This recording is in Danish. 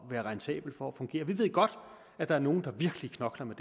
at være rentabel og fungere vi ved godt at der er nogle der virkelig knokler med